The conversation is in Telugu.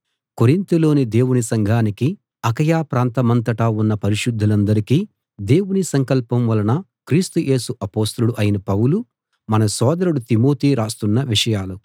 కొరింతులోని దేవుని సంఘానికీ అకయ ప్రాంతమంతటా ఉన్న పరిశుద్ధులందరికీ దేవుని సంకల్పం వలన క్రీస్తు యేసు అపొస్తలుడు అయిన పౌలు మన సోదరుడు తిమోతి రాస్తున్న విషయాలు